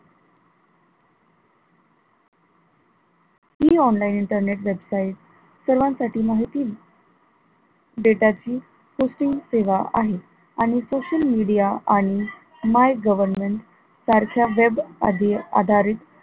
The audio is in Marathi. हि online internet website सर्वांसाठी माहिती data ची निसिम्म सेवा आहे आणि social media आणि my government सारख्य web आदी आधारित